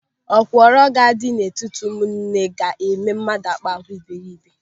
Okworo na-adị n'etiti ụmụnne ga-eme mmadụ akpa àgwà iberiibe.